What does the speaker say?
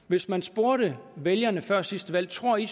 hvis man spurgte vælgerne før sidste valg tror i